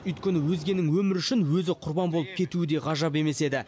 өйткені өзгенің өмірі үшін өзі құрбан болып кетуі де ғажап емес еді